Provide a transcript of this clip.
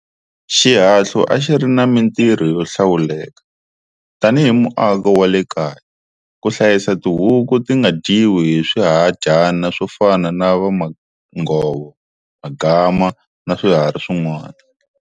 Xihahlu a xi ri na mintirho yo hlawuleka, tani hi muako wa le kaya, ku hlayisa tihuku ti nga dyiwi hi swihadyana swo fana na vamanghovo, Magama na swiharhi swin'wana.